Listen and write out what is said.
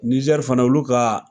Nizɛri fana olu ka